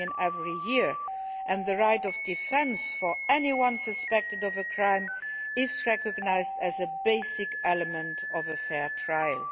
every year, and the right of defence for anyone suspected of a crime is recognised as a basic element of a fair trial.